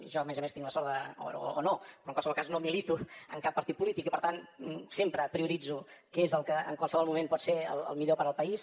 jo a més a més tinc la sort o no però en qualsevol cas no milito en cap partit polític i per tant sempre prioritzo què és el que en qualsevol moment pot ser el millor per al país